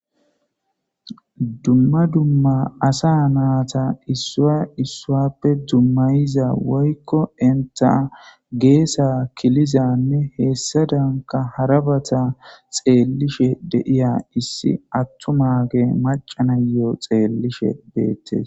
Duma duma asa nayta issa issappe dumayiza woyko enta geesa kilizanne hesadanka harabata xeelishe de'iya issi attumagey maca na'iyo xelishe beetes.